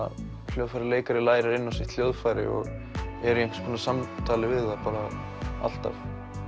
hljóðfæraleikari lærir inn á sitt hljóðfæri og er í einhvers konar samtali við það bara alltaf